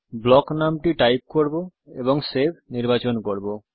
block নামটি type করব এবং সেভ নির্বাচন করব